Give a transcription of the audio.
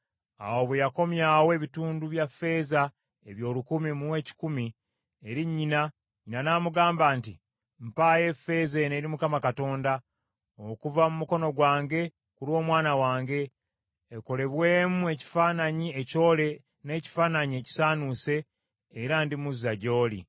Awo bwe yakomyawo ebitundu bya ffeeza ebyo olukumi mu ekikumi, eri nnyina, nnyina n’amugamba nti, “Mpaayo effeeza eno eri Mukama Katonda, okuva mu mukono gwange ku lw’omwana wange, ekolebwemu ekifaananyi ekyole n’ekifaananyi ekisaanuuse, era ndimuzza gy’oli.”